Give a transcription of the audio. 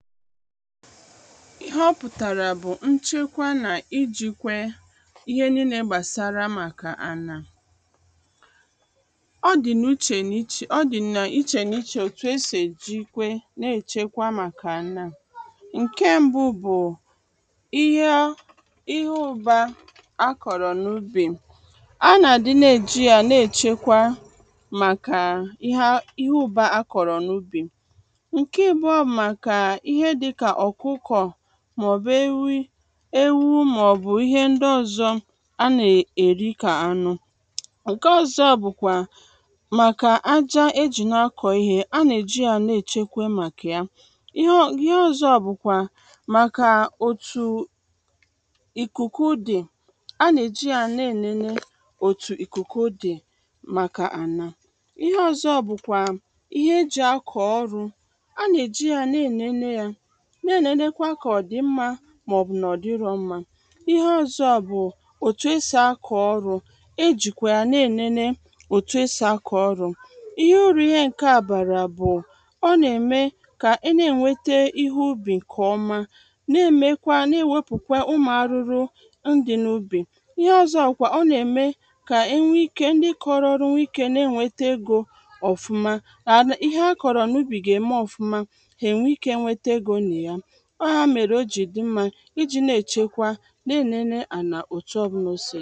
ihe ọ pụ̀tàrà bù nchekwa nà ijikwẹ ihe niile gbàsara màkà ànà ọ dị̀ n’ụchè n’ịchè.. ọ dị̀ nà ịchè n’ichè otù e si èjịkwe n’èchekwa màkà ànà ǹkẹ mbu bù ihe ọ ịhe ụba akọ̀rọ̀ n’ubì a nà àdị na e jị ya na-èche kwa màkà ịhe a ihe ụ̀ba a kọ̀rọ̀ n’ubì ǹke abụọ bụ màkà ihe dịkà ọ̀kụkọ̀ mà ọ̀ bù ewi ewu mà ọ̀ bụ̀ ihe ndị ọzọ a nà è èri kà anụ ǹke ọzọ bụkwa màkà aja e jì na akọ̀ ihe a nà èji ya na èchekwe màkà ya ihe ọ ihe ọzọ bùkwa màkà òtù ị̀kụ̀kụ dị̀ anà è ji ya nà ènene òtù ị̀kụ̀kụ dị màkà ànà ihe ọzo bụkwà ihe e jị̀ akọ̀ ọrụ a nà eji ya na ènene ya nà ènenekwa kà ọ dị̀ mmā mà ọ̀ bụ̀ nà ọ dịrō mma ihe ọzọ bụ òtù e sì akọ̀ ọrụ e jìkwè ya nà enene òtù e sì akọ̀ ọrụ ihe urù ihe ǹkẹ a bàrà bù ọ nà ẹ̀mẹ ka e nà ènwete ihe ubì ǹkè ọma nà-èmekwa nà èwèpùkwa ụmụ̀ arụrụ n dị̄ n’ubì ihe ọzọ kwà ọ nà ème kà ẹnwe ikē kà ndị kọrọ ọrụ nwe ikē nà ènweta egō ọfụma kà ihe a kọrọ n’ubi gà ème ọfuma è nwe ike nwete egō nà ya ọ ya mèrè o jị dị mmā ịjī na èchekwa nà enene anà otu ọbụlà osì dị